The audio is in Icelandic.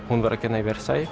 hún var að kenna í